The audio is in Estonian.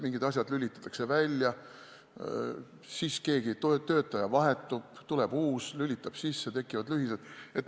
Mingid asjad lülitatakse välja, siis keegi töötaja vahetub, tuleb uus, lülitab sisse, tekivad lühised.